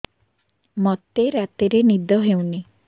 ମୋତେ ରାତିରେ ନିଦ ହେଉନି